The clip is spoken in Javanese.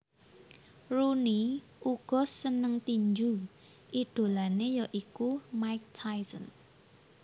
Rooney uga seneng tinju idolanè ya iku Mike Tyson